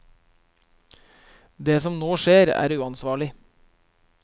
Det som nå skjer er uansvarlig.